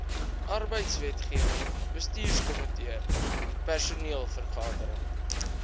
arbeidswetgewing bestuurskomitee personeelvergadering